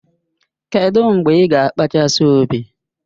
Kedụ mgbe ị ga-akpachasi ubi?